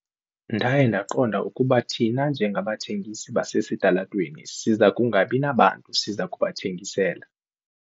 Ndaye ndaqonda ukuba thina njengabathengisi basesitalatweni siza kungabi nabantu siza kubathengisela.